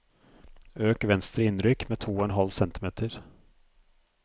Øk venstre innrykk med to og en halv centimeter